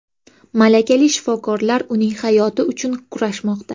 Malakali shifokorlar uning hayoti uchun kurashmoqda.